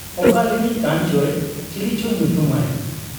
ᱚᱠᱟᱨᱤᱱᱤᱡ ᱠᱟᱱᱪᱚᱭ, ᱪᱤᱞᱤᱪᱚ ᱧᱩᱛᱩᱢᱟᱭ ᱾